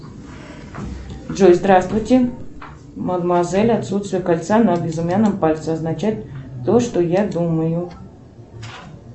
джой здравствуйте мадемуазель отсутствие кольца на безымянном пальце означает то что я думаю